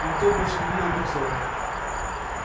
никто больше не видел боксёра